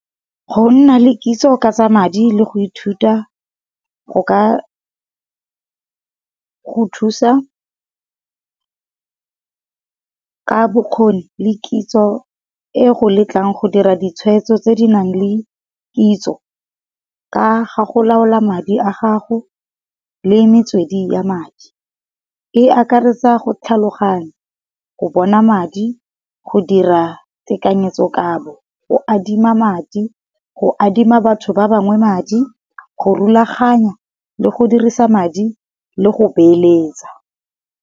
Go nna le kitso ka tsa madi le go ithuta go ka go thusa. Ka bokgoni le kitso e go letlang go dira ditshweetso tse di nang le kitso ka ga go laola madi a gago le metswedi ya madi. E akaretsa go tlhaloganya, go bona madi, go dira tekanyetso-kabo, go adima madi, go adima batho ba bangwe madi, go rulaganya, le go dirisa madi le go beeletsa.